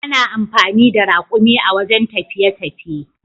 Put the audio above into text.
Ana amfani da rakumi a wajen tafiye tafiye.